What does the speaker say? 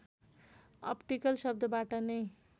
optical शब्दबाट नै